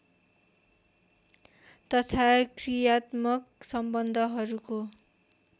तथा क्रियात्मक सम्बन्धहरूको